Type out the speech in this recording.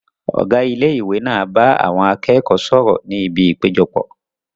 Ọ̀gá ilé ìwé náà bá àwọn akẹ́kọ̀ọ́ sọ̀rọ̀ ní ibi ìpéjọpọ̀